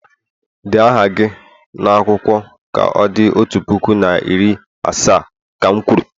Dee aha gị n'akwụkwọ ka o di otu puku na iri asaa, ka m kwuru!